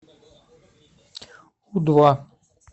у два